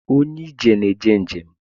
Onye ije na-eje njem